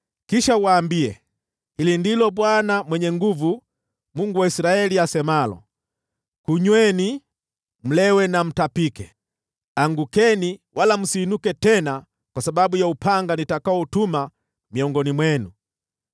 “Kisha uwaambie, ‘Hili ndilo Bwana Mwenye Nguvu Zote, Mungu wa Israeli, asemalo: Kunyweni, mlewe na mtapike; angukeni, wala msiinuke tena kwa sababu ya upanga nitakaotuma miongoni mwenu.’